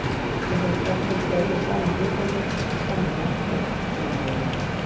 Þessar persónur deila sama guðdómi, sama mætti, sama vilja.